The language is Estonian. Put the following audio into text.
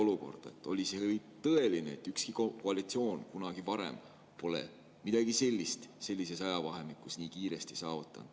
Ükski koalitsioon pole kunagi varem midagi sellist sellises ajavahemikus nii kiiresti saavutanud.